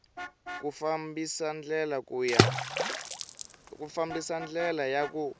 ku fambisa ndlela ya ku